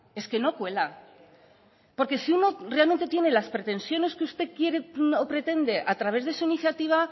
es que no cuela porque si uno realmente tiene las pretensiones que usted quiere o pretende a través de su iniciativa